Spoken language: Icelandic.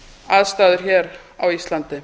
aðstæður hér á íslandi